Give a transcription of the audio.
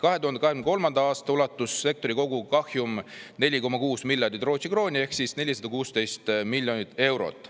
2023. aastal ulatus sektori kogukahjum 4,6 miljardit Rootsi krooni ehk 416 miljonit eurot.